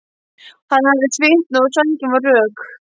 Hann hafði svitnað og sængin var rök.